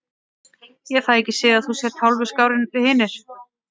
Ég fæ ekki séð að þú sért hótinu skárri en við hinir.